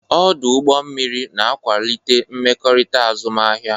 Ọdụ ụgbọ mmiri na-akwalite mmekọrịta azụmahịa.